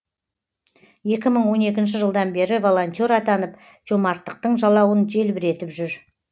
екә мың он екінші жылдан бері волонтер атанып жомарттықтың жалауын желбіретіп жүр